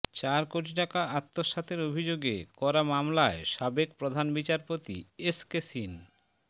চার কোটি টাকা আত্মসাতের অভিযোগে করা মামলায় সাবেক প্রধান বিচারপতি এসকে সিন